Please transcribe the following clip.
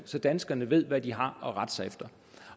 så danskerne ved hvad de har at rette sig efter